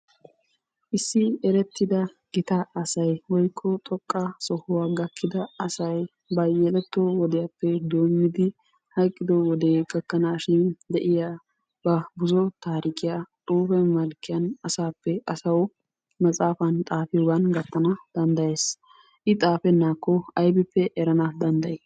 Issi erettiida gita asay woyikko xoqqa sohuwa gakkida asay ba yeletto wodiyaappe doommidi hayqqido wodee gakkanaashin de"iya ba buzo taarikiyaa xuufe malkkiyan asaappe asawu maxaafan xaaafiyoogan gattana danddayees. I xaafennaakko aybippe erana danddayi?